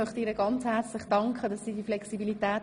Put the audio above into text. Ich danke ihr für ihre Flexibilität.